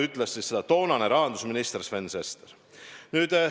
" Ütles seda toonane rahandusminister Sven Sester.